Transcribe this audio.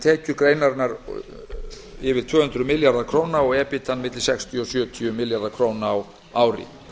tekjur greinarinnar yfir tvö hundruð milljarðar króna og ebitda sextíu til sjötíu milljarðar króna á ári